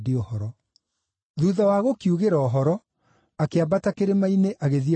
Thuutha wa kũmoigĩra ũhoro, akĩambata kĩrĩma-inĩ agĩthiĩ kũhooya.